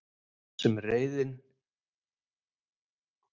Þar er reiðin sem vanin er.